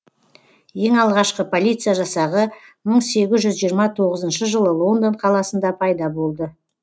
ең алғашқы полиция жасағы мың сегіз жүз жиырма тоғызыншы жылы лондон қаласында пайда болды